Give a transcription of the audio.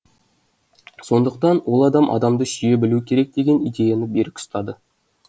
сондықтан ол адам адамды сүйе білуі керек деген идеяны берік ұстады